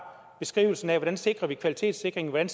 beskrivelsen af hvordan vi sikrer kvaliteten hvordan